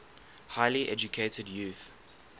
highly educated youth